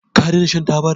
ka dena shan tabar?